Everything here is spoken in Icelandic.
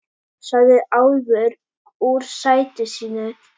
sagði Álfur úr sæti sínu.